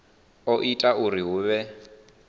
o ita uri hu vhe